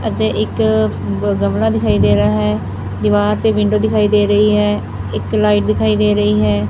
ਅਤੇ ਇੱਕ ਗ ਗਮਲਾ ਦਿਖਾਈ ਦੇ ਰਹਾ ਹੈ ਦੀਵਾਰ ਤੇ ਵਿੰਡੋ ਦਿਖਾਈ ਦੇ ਰਹੀ ਹੈ ਇੱਕ ਲਾਈਟ ਦਿਖਾਈ ਦੇ ਰਹੀ ਹੈ।